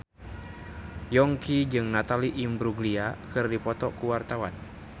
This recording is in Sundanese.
Yongki jeung Natalie Imbruglia keur dipoto ku wartawan